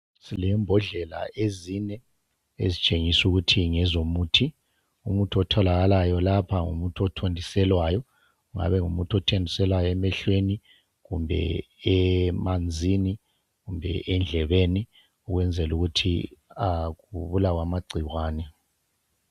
Silembodlela ezine ,ezitshengisukuthi ngezomuthi .Umuthi otholakalayo lapha ngumuthi othontiselwayo , kungaba ngumuthi othontiselwayo emehlweni, kumbe emanzini kumbe endlebeni . Ukwenzelukuthi kubulawe amagcikwane.